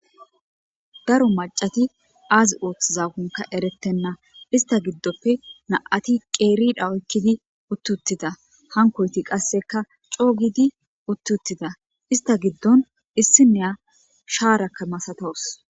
daro macati aazi ooththizagunka erettenna ista giddoppe na7ati qeeridhawoykkidi uttuttida hankoyti qasseka coogidi uttuttida ista giddon issi neya shaarakka masatawus